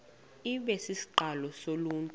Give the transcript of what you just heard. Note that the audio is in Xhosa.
ibe sisiqalo soluntu